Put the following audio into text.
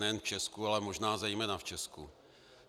Nejen v Česku, ale možná zejména v Česku.